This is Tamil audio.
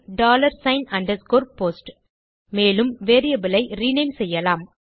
டாலர் சிக்ன் அண்டர்ஸ்கோர் போஸ்ட் மேலும் வேரியபிள் ஐ ரினேம் செய்யலாம்